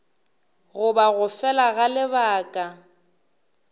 goba go fela ga lebaka